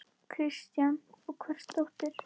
Kristján: Og hvers dóttir?